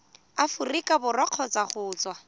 aforika borwa kgotsa go tswa